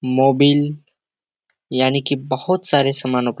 Mobil यानी की बहुत सारे समानो --